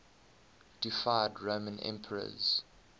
deified roman emperors